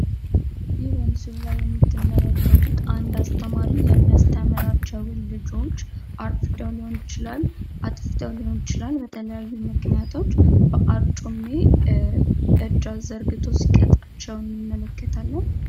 ይህ በምስሉ ላይ የምትመለከቱት አነድ አስተማሪ የሚያስተምራቸውን ልጆች አርፍደው ሊሆን ይችላል አጥፍተው ሊሆን ይችላል በተለያዩ ምክኒያቶች በአርጩሜ እጅ አዘርግቶ ሲቀጣቼው እንመለከታለን።